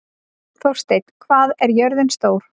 Þórsteinn, hvað er jörðin stór?